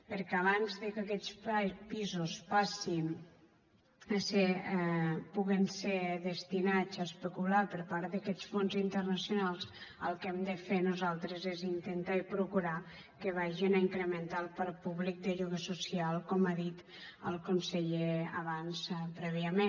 perquè abans que aquests pisos puguen ser destinats a especular per part d’aquests fons internacionals el que hem de fer nosaltres és intentar i procurar que vagin a incrementar el parc públic de lloguer social com ha dit el conseller abans prèviament